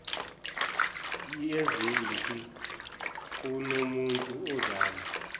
yezempi kunomuntu ozama